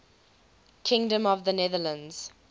kingdom of the netherlands